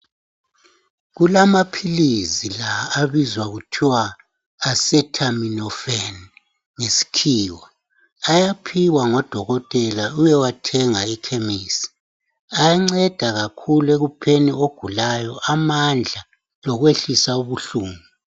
Kulamaphilizi la abizwa kuthiwa acetaminophen ngesikhiwa ayaphiwa ngodokotela uyowathenga ekhemisi. Ayanceda kakhulu ekupheni ogulayo ukumupha amandla lokwehlisa ubuhlungu.